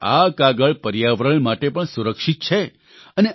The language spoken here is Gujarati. એટલે કે આ કાગળ પર્યાવરણ માટે પણ સુરક્ષિત છે